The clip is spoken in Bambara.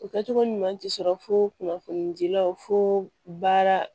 O kɛcogo ɲuman ti sɔrɔ fo kunnafoni dilaw fo baara